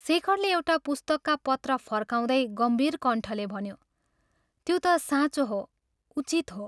शेखरले एउटा पुस्तकका पत्र फर्काउँदै गम्भीर कण्ठले भन्यो " त्यो त साँचो हो, उचित हो।